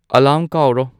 alarm ꯀꯥꯎꯔꯣ